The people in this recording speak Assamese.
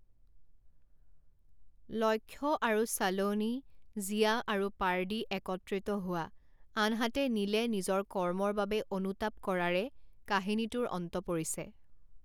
লক্ষ্য আৰু ছালোনী, জিয়া আৰু পাৰ্ডী একত্ৰিত হোৱা আনহাতে নীলে নিজৰ কৰ্মৰ বাবে অনুতাপ কৰাৰে কাহিনীটোৰ অন্ত পৰিছে।